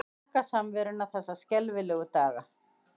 Þakka samveruna þessa skelfilegu daga.